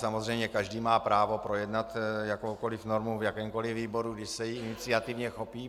Samozřejmě každý má právo projednat jakoukoli normu v jakémkoli výboru, když se jí iniciativně chopí.